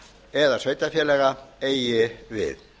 eða sveitarfélaga eigi við